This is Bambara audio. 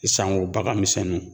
E sango bagan misɛnnunw